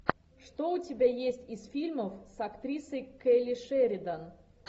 что у тебя есть из фильмов с актрисой келли шеридан